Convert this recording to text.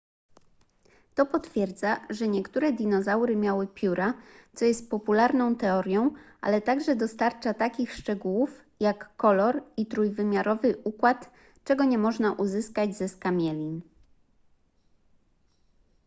to potwierdza że niektóre dinozaury miały pióra co jest popularną teorią ale także dostarcza takich szczegółów jak kolor i trójwymiarowy układ czego nie można uzyskać ze skamielin